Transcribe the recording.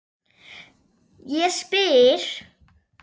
Ég spyr?